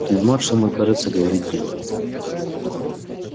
фельдмаршал мой кажется говорит дело